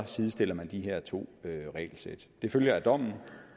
sidestiller de her to regelsæt det følger af dommen